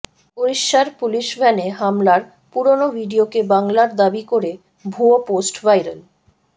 উড়িষ্যার পুলিশভ্যানে হামলার পুরনো ভিডিওকে বাংলার দাবি করে ভুয়ো পোস্ট ভাইরাল